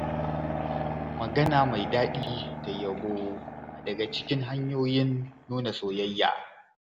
Magana mai daɗi da yabo na daga cikin hanyoyin nuna soyayya.